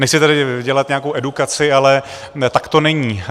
Nechci tady dělat nějakou edukaci, ale tak to není.